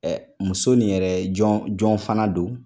Ɛ muso nin yɛrɛ jɔn jɔn fana don